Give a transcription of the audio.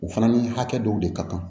U fana ni hakɛ dɔw de ka kan